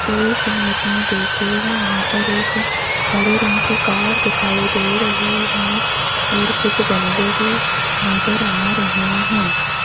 इस इमेज में देखिएगा यहां पर एक हरे रंग की कार दिखाई दे रही है और कुछ गमले भी नजर आ रहे हैं।